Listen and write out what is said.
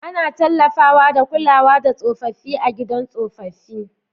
Ana tallafawa da kulawa da tsofaffi a Gidajen Tsofaffi.